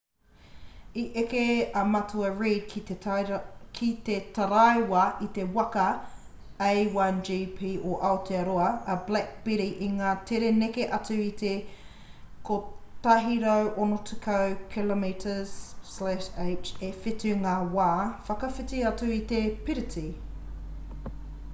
i eke a matua reid ki te taraiwa i te waka a1gp o aotearoa a black beauty i ngā tere neke atu i te 160km/h e whitu ngā wā whakawhiti atu i te piriti